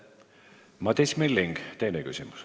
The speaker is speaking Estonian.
Madis Milling, teine küsimus.